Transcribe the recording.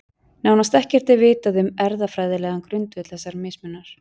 Nánast ekkert er vitað um erfðafræðilegan grundvöll þessa mismunar.